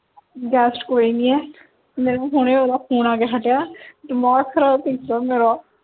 guest ਕੋਈ ਨਹੀਂ ਹੈ ਮੈਨੂੰ ਹਜੇ ਹੋਣੇ ਉਹਦਾ ਫੋਨ ਆ ਕੇ ਹਟਿਆ ਦਿਮਾਗ ਖਰਾਬ ਕੀਤਾ ਮੇਰਾ